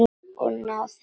Og ná þeir saman?